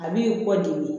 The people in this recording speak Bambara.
A b'i kɔ degun